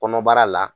Kɔnɔbara la